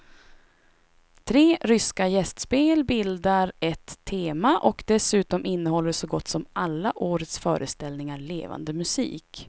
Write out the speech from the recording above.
Tre ryska gästspel bildar ett tema och dessutom innehåller så gott som alla årets föreställningar levande musik.